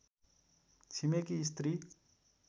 छिमेकी स्त्री